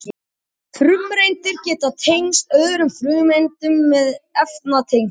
frumeindir geta tengst öðrum frumeindum með efnatengjum